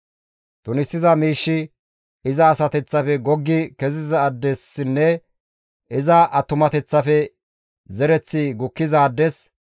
Tunisiza miishshi iza asateththafe goggi kezizaadessinne iza attumateththafe zereththi gukkizaades,